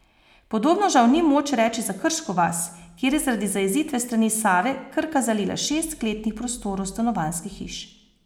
Podobno žal ni moč reči za Krško vas, kjer je zaradi zajezitve s strani Save Krka zalila šest kletnih prostorov stanovanjskih hiš.